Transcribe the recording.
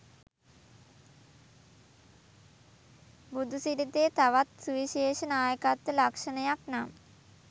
බුදුසිරිතේ තවත් සුවිශේෂ නායකත්ව ලක්‍ෂණයක් නම්